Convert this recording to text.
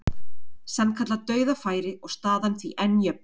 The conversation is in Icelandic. Sannkallað dauðafæri og staðan því enn jöfn.